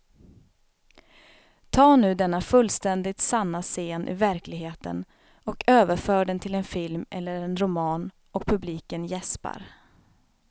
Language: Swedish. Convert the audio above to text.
Ta nu denna fullständigt sanna scen ur verkligheten och överför den till en film eller en roman och publiken jäspar.